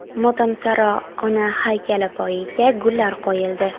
Motamsaro ona haykali poyiga gullar qo‘yildi.